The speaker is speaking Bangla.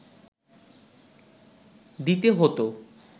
দিতে হতো